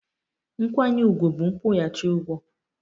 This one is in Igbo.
Nkwanye ùgwù bụ nkwụghachi ụgwọ